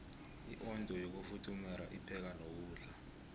iondo yokufuthumeru ipheka nokudla